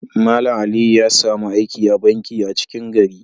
Mallam Aliyu ya samu aiki a'banki a 'cikin gari.